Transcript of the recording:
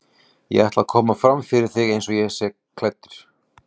Ég ætla að koma fram fyrir þig eins og ég er klæddur.